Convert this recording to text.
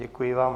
Děkuji vám.